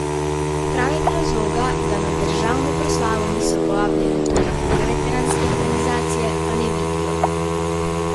Pravega razloga, da na državno proslavo niso povabljene tudi druge veteranske organizacije pa ne vidijo.